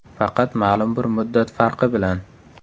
Faqat ma’lum bir muddat farqi bilan.